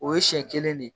O ye siɲɛ kelen ne de ye